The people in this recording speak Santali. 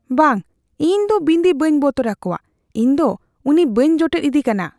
ᱵᱟᱝ ! ᱤᱧ ᱫᱚ ᱵᱤᱱᱫᱤ ᱵᱟᱹᱧ ᱵᱚᱛᱚᱨ ᱟᱠᱚᱣᱟ ᱾ ᱤᱧ ᱫᱚ ᱩᱱᱤ ᱵᱟᱹᱧ ᱡᱚᱴᱮᱫ ᱤᱫᱤᱠᱟᱱᱟ ᱾